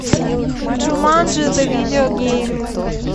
джуманджи зе видео гейм